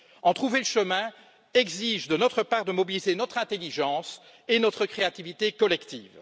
En trouver le chemin exige de notre part de mobiliser notre intelligence et notre créativité collectives.